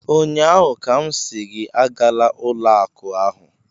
Ụnyaahụ ka m sị gị agala ụlọ akụ ahụ!